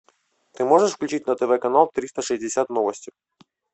ты можешь включить на тв канал триста шестьдесят новости